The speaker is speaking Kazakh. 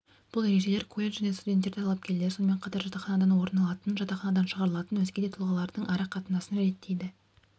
бұл ережелер колледж және студенттер талапкерлер сонымен қатар жатақханадан орын алатын жатақханадан шығарылатын өзге де тұлғалардың ара-қатынасын реттейді